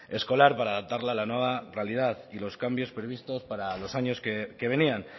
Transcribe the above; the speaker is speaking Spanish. escolar para adaptarla a la nueva realidad y los cambios previstos para los años que venían